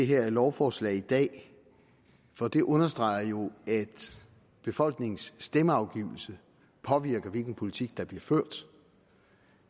her lovforslag i dag for det understreger jo at befolkningens stemmeafgivelse påvirker hvilken politik der bliver ført